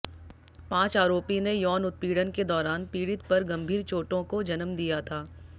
पांच आरोपी ने यौन उत्पीड़न के दौरान पीड़ित पर गंभीर चोटों को जन्म दिया था